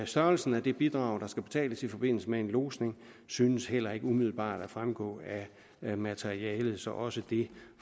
størrelsen af det bidrag der skal betales i forbindelse med en lodsning synes heller ikke umiddelbart at fremgå af materialet så også det